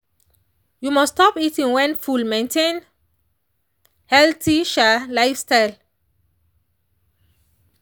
you must stop eating when full maintain healthy um lifestyle.